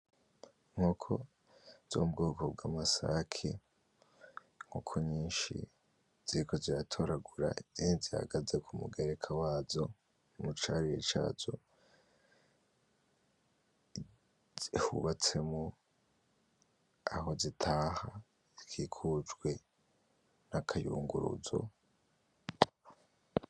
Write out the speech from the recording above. Inkoko zo mu bwoko bw'amasake, inkoko nyinshi ziriko ziratoragura izindi zihagaze ku mugereka wazo mu carire cazo hubatsemwo aho zitaha hakikujwe n'akayunguruzo.